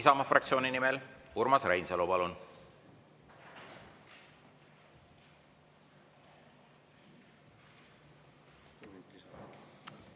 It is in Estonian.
Isamaa fraktsiooni nimel Urmas Reinsalu, palun!